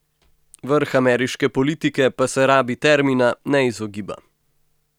Vrh ameriške politike pa se rabi termina ne izogiba.